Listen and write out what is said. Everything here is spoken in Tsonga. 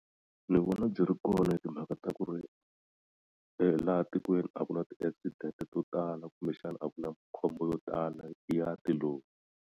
Ni vona byi ri kona hi timhaka ta ku ri laha tikweni a ku na ti accident to tala kumbexani a ku na khombo yo tala ya ti lori.